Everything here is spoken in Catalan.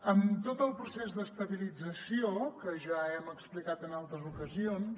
en tot el procés d’estabilització que ja hem explicat en altres ocasions